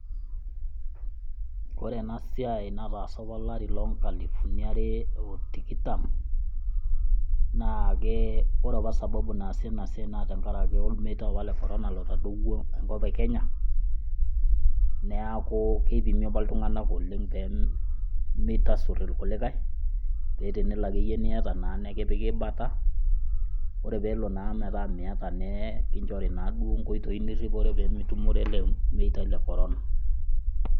ore ena siai nataasa apa olari loo nkalifuni are otikitam naa ke , ore apa sababu naasiina siai naa tenkaraki ormeitai apa le corona lotadowuo enkop e kenya niaku keipimi apa iltunganak oleng pemeitasur irkulikae , pee tenelo niata naa nikipiki bata. ore pelo metaa miata nekinchori naaduo nkoitoi niripore pemintoki naaduoo atumore ele meitai le corona